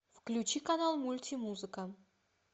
включи канал мультимузыка